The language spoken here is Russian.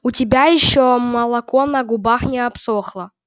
у тебя ещё молоко на губах не обсохло